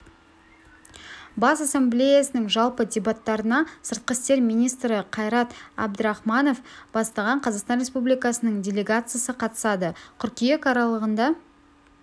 бас ассамблеясының жалпы дебаттарына сыртқы істер министрі қайрат әбдірахманов бастаған қазақстан республикасының делегациясы қатысады қыркүйек аралығында